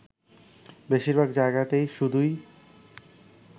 বেশীরভাগ জায়গাতেই শুধুই